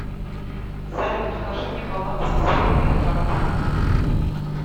салют укажи мне баланс всех моих карт